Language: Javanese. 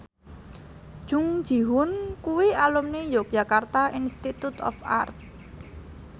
Jung Ji Hoon kuwi alumni Yogyakarta Institute of Art